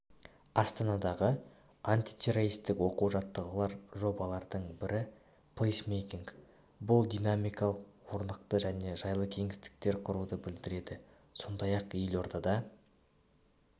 астанадағы антитеррористік оқу-жаттығулар жобалардың бірі плейсмейкинг бұл динамикалық орнықты және жайлы кеңістіктер құруды білдіреді сондай-ақ елордада